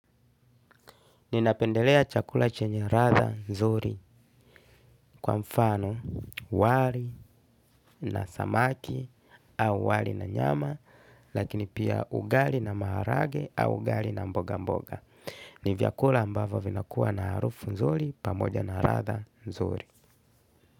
Ninapendelea chakula chenye ladha nzuri kwa mfano, wali na samaki au wali na nyama, lakini pia ugali na maharage au ugali na mboga mboga. Ni vyakula ambavyo vinakuwa na harufu nzuri pamoja na ladha nzuri.